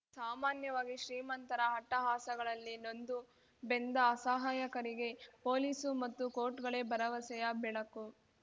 ಸಾಮಾನ್ಯವಾಗಿ ಶ್ರೀಮಂತರ ಅಟ್ಟಹಾಸಗಳಲ್ಲಿ ನೊಂದು ಬೆಂದ ಅಸಹಾಯಕರಿಗೆ ಪೊಲೀಸು ಮತ್ತು ಕೋರ್ಟ್‌ಗಳೇ ಭರವಸೆಯ ಬೆಳಕು